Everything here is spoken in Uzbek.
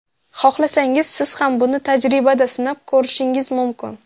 Xohlasangiz siz ham buni tajribada sinab ko‘rishingiz mumkin.